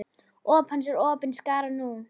Óp hans er opin skárra nú.